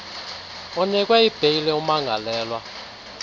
unikwe ibheyile umangalelwe